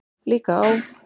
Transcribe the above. Líka á